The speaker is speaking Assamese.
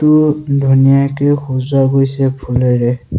বহুত ধুনিয়াকে সজোৱা গৈছে ফুলেৰে।